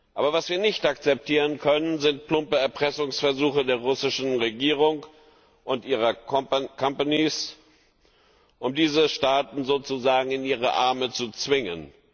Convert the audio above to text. Aber was wir nicht akzeptieren können, sind plumpe Erpressungsversuche der russischen Regierung und ihrer companies um diese Staaten sozusagen in ihre Arme zu zwingen.